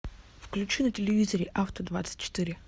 включи на телевизоре авто двадцать четыре